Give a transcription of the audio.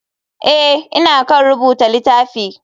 Eh ,ina kan rubuta litafi.